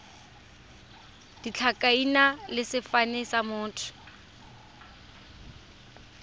ditlhakaina le sefane sa motho